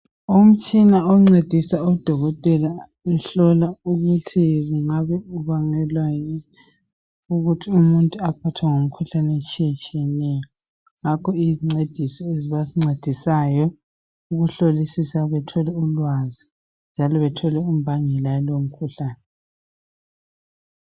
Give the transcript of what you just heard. Umtshina oncedisa odokotela ukuhlola ukuthi kungabe kubangelwa yini ukuthi umuntu aphathwe ngumkhuhlane etshiyetshiyeneyo. Ngakho iyizincedisi ezibancedisayo ukuhlolisisa bethole ulwazi njalo bethole imbangela yalomkhuhlane.